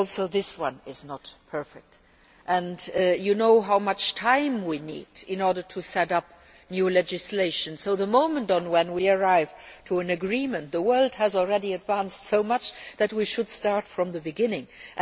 this one is not perfect, either, and you know how much time we need in order to set up new legislation so that by the time we arrive at an agreement, the world has already advanced so much that we should start from the beginning again.